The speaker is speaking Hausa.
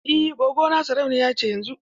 Eh gwaggo na sarauniya ce yanzun.